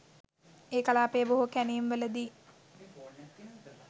ඒ කලාපයේ බොහෝ කැණීම් වලදී